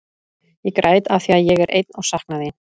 Ég græt af því að ég er einn og sakna þín.